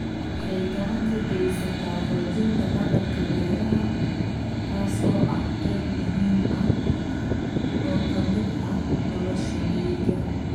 Waxay gacan ka geysataa xoojinta dhaqanka beeraha, taas oo ah qayb muhiim ah oo ka mid ah nolosha miyiga.